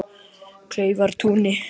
Kleifartúni